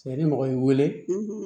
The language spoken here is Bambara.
Cɛ ni mɔgɔ y'i wele